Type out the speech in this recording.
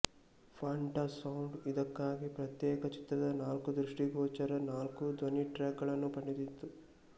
Fantasound ಇದಕ್ಕಾಗಿ ಪ್ರತ್ಯೇಕ ಚಿತ್ರದ ನಾಲ್ಕು ದೃಷ್ಟಿಗೋಚರ ನಾಲ್ಕು ಧ್ವನಿಟ್ರ್ಯಾಕ್ ಗಳನ್ನು ಪಡೆದಿತ್ತು